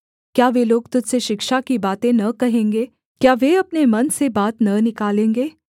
क्या वे लोग तुझ से शिक्षा की बातें न कहेंगे क्या वे अपने मन से बात न निकालेंगे